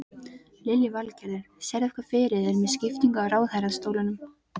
Lillý Valgerður: Sérðu eitthvað fyrir þér með skiptingu á ráðherrastólum?